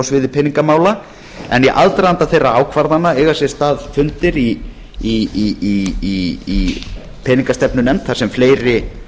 sviði peningamála en í aðdraganda þeirra ákvarðana eiga sér stað fundir í peningastefnunefnd þar sem fleiri